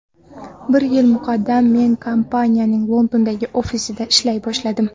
Bir yil muqaddam men kompaniyaning Londondagi ofisida ishlay boshladim.